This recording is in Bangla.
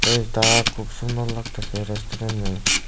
পেইজটা খুব সুন্দর লাগতাসে রেসন্টুরেইনে ।